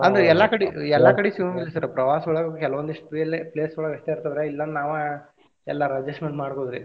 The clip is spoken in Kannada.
ಅಂದ್ರ ಎಲ್ಲಾ ಕಡಿ ಎಲ್ಲಾ ಕಡಿ ಸಿಗುಂಗಿಲ್ಲ sir ಪ್ರವಾಸ ಒಳಗ ಕೆಲವೊಂದಿಷ್ಟ್ place ಒಳಗ ಅಷ್ಟ ಇರ್ತಾವ ರೀ ಇಲ್ಲಾ ಅಂದ್ರ ನಾವ ಎಲ್ಲಾರ adjustment ಮಾಡ್ಬಹುದ್ರಿ.